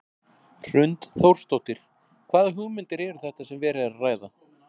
Hrund Þórsdóttir: Hvaða hugmyndir eru þetta sem verið er að ræða?